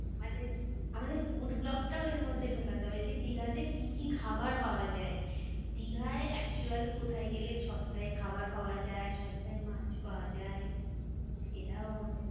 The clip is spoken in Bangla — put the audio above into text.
আমাদের আমাদের food vlog টাও এর মধ্যে ঢোকাতে হবে যে, দীঘাতে কি কি খাবার পাওয়া যায়? দিঘায় actual কোথায় গেলে সস্তায় খাবার পাওয়া যায়, সস্তায় মাছ পাওয়া যায়? সেটাও আমাদের